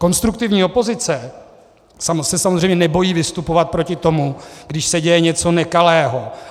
Konstruktivní opozice se samozřejmě nebojí vystupovat proti tomu, když se děje něco nekalého.